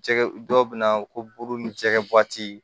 Jɛgɛ dɔw bɛ na ko buru ni jɛgɛ